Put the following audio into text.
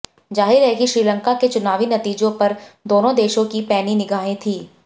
जाहिर है कि श्रीलंका के चुनावी नतीजों पर दोनों देशों की पैनी निगाहें थीं